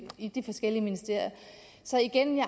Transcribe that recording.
i de forskellige ministerier så igen vil